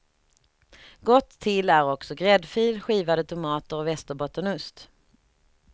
Gott till är också gräddfil, skivade tomater och västerbottenost.